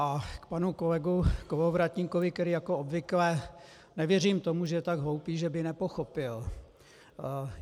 A k panu kolegovi Kolovratníkovi, který jako obvykle... nevěřím tomu, že je tak hloupý, že by nepochopil.